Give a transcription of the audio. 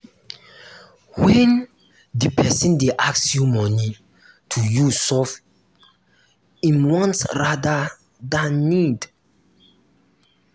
when di person dey ask you money to use solve im wants rather than need